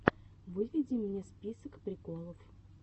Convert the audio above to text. выведи мне список приколов